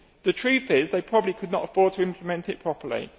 The truth is they probably could not afford to implement it properly.